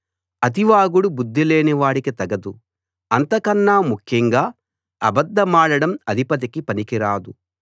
అతి వాగుడు బుద్ధిలేనివాడికి తగదు అంతకన్నా ముఖ్యంగా అబద్ధమాడడం అధిపతికి పనికిరాదు